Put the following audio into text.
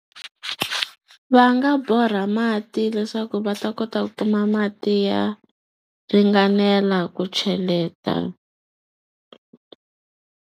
Va nga borha mati leswaku va ta kota ku kuma mati ya ringanela ku cheleta.